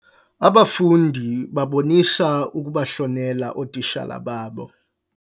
Abafundi babonisa ukubahlonela ootitshala babo.